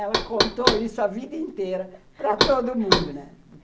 Ela contou isso a vida inteira para todo mundo, né?